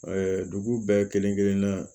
dugu bɛɛ kelen kelenna